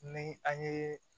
Ni an ye